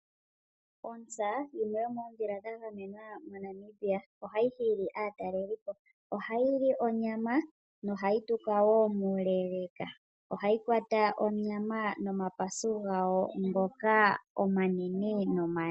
Ontsa yimwe yomoondhila dha gamenwa moNamibia ohayi hili aatalelipo, ohayi li onyama nohayi tuka woo muuleeleka, ohayi kwata onyama nomapasu gayo ngoka omanene nomale